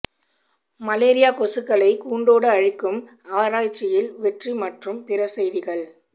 malaria கொசுக்களை கூண்டோடு அழிக்கும் ஆராய்ச்சியில் வெற்றி மற்றும் பிற செய்திகள்